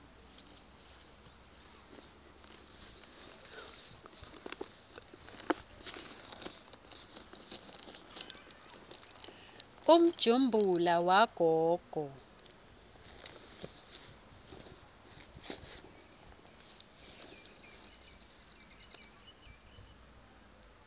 umjumbula wagogo